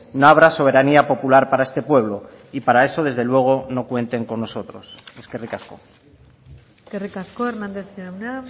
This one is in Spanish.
no habrá soberanía popular para este pueblo y para eso desde luego no cuenten con nosotros eskerrik asko eskerrik asko hernandez jauna